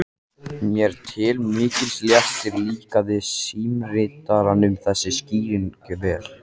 Mér til mikils léttis líkaði símritaranum þessi skýring vel.